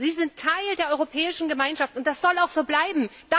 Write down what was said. Sie sind Teil der Europäischen Gemeinschaft und das soll auch so bleiben!